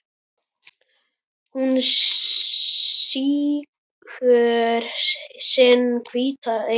Hún sýgur sinn hvíta eitur